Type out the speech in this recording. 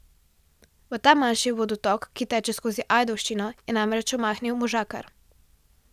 V ta manjši vodotok, ki teče skozi Ajdovščino, je namreč omahnil možakar.